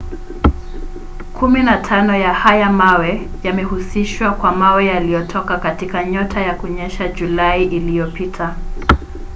kumi na tano ya haya mawe yamehusishwa kwa mawe yaliyotoka katika nyota na kunyesha julai iliyopita